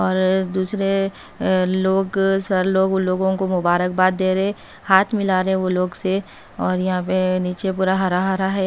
और दूसरे लोग सर लोग उन लोगों को मुबारकबाद दे रहे हाथ मिला रहे वो लोग से और यहां पे नीचे पूरा हरा हरा हैं।